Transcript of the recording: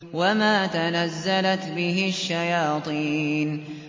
وَمَا تَنَزَّلَتْ بِهِ الشَّيَاطِينُ